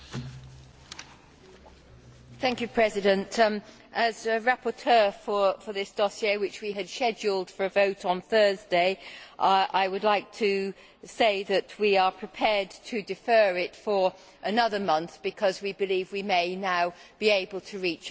Mr President, as rapporteur for this dossier, which we had scheduled for a vote on Thursday, I would like to say that we are prepared to defer it for another month because we believe we may now be able to reach a first reading compromise.